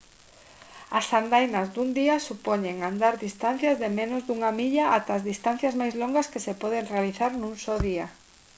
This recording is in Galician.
as andainas dun día supoñen andar distancias de menos dunha milla ata distancias máis longas que se poden realizar nun só día